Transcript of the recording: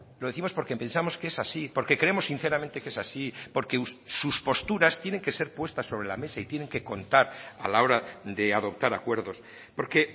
lo décimos porque pensamos que es así porque creemos sinceramente que es así porque sus posturas tienen que ser puestas sobre la mesa y tienen que contar a la hora de adoptar acuerdos porque